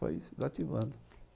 Foi se desativando.